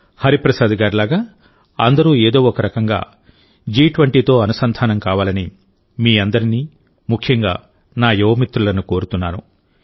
హరిప్రసాద్ గారిలాగా అందరూ ఏదో ఒకరకంగా జి20తో అనుసంధానం కావాలని మీ అందరినీ ముఖ్యంగా నా యువ మిత్రులను కోరుతున్నాను